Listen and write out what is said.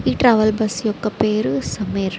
ఈ travel bus ఒక పేరు సంమీర్.